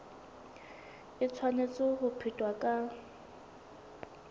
e tshwanetse ho phethwa ka